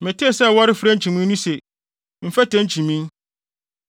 Metee sɛ wɔrefrɛ nkyimii no se, “mfɛtɛ nkyimii.”